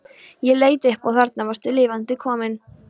Ég leit upp og þarna varstu lifandi komin.